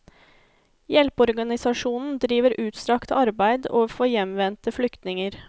Hjelpeorganisasjonen driver utstrakt arbeid overfor hjemvendte flyktninger.